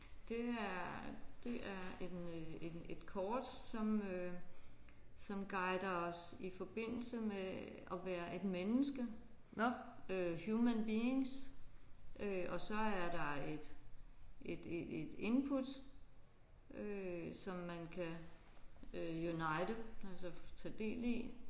Det her det er en en et kort som øh som guider os i forbindelse med at være et menneske øh human beings øh og så er der et et et input som man kan øh unite altså tage del i